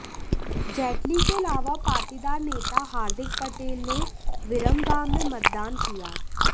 जेटली के अलावा पाटीदार नेता हार्दिक पटेल ने विरमगाम में मतदान किया